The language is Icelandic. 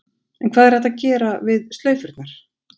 En hvað er hægt að gera við slaufurnar?